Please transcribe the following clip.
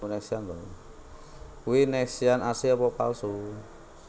Kui Nexian asli apa palsu?